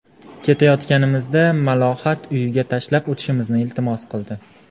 Ketayotganimizda Malohat uyiga tashlab o‘tishimizni iltimos qildi.